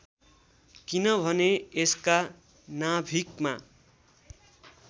किनभने यसका नाभिकमा